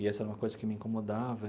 E essa é uma coisa que me incomodava.